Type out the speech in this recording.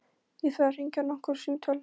Ég þarf að hringja nokkur símtöl.